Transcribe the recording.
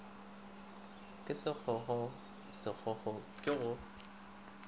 ke sekgokgokgo sekgokgokgo ke go